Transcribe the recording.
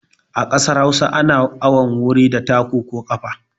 A kasar Hausa ana awon wuri da taku ko ƙafa.